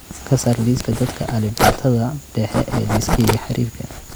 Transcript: ka saar liiska dadka alifbeetada dhexe ee liiskayga xiriirka